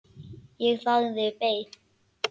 Ég þagði, beið.